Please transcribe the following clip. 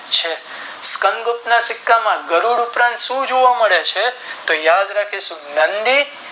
છે સિકંદગુપ્તના સિક્કામાં ગરુડ ઉપરાંત શું જોવા મળે છે તો યાદ રાખીશું નંદી